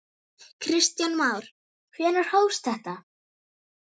Börn: Kristinn Jónsson?